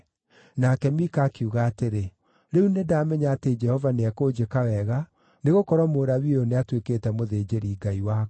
Nake Mika akiuga atĩrĩ, “Rĩu nĩndamenya atĩ Jehova nĩekũnjĩka wega, nĩgũkorwo Mũlawii ũyũ nĩatuĩkĩte mũthĩnjĩri-ngai wakwa.”